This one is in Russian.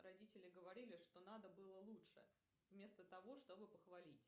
родители говорили что надо было лучше вместо того чтобы похвалить